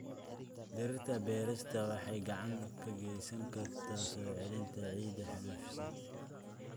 Dhirta beerista waxay gacan ka geysan kartaa soo celinta ciidda xaalufisay.